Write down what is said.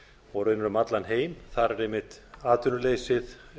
og raunar um allan heim þar er einmitt atvinnuleysið